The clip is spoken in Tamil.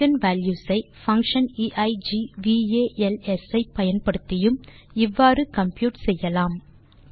எய்கென் வால்யூஸ் ஐfunction eigvals ஐ பயன்படுத்தியும் இவ்வாறு கம்ப்யூட் செய்யலாம்